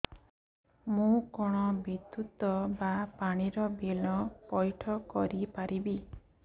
ମୁ କଣ ବିଦ୍ୟୁତ ବା ପାଣି ର ବିଲ ପଇଠ କରି ପାରିବି